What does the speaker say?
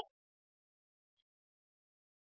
यह spoken tutorial project को सारांशित करता है